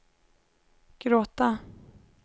gråta